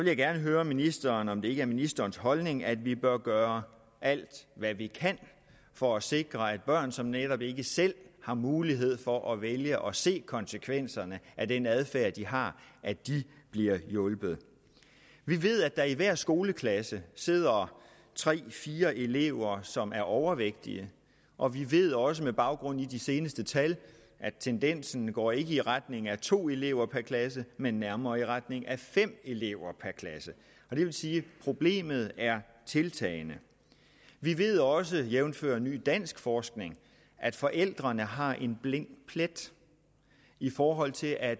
jeg gerne høre ministeren om det ikke er ministerens holdning at vi bør gøre alt hvad vi kan for at sikre at børn som netop ikke selv har mulighed for at vælge og se konsekvenserne af den adfærd de har bliver hjulpet vi ved at der i hver skoleklasse sidder tre fire elever som er overvægtige og vi ved også med baggrund i de seneste tal at tendensen ikke går i retning af to elever per klasse men nærmere i retning af fem elever per klasse og det vil sige at problemet er tiltagende vi ved også jævnfør ny dansk forskning at forældrene har en blind plet i forhold til at